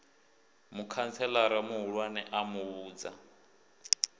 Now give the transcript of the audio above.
mukhantselara muhulwane a mu vhudza